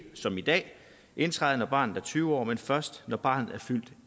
som i dag indtræde når barnet er tyve år men først når barnet er fyldt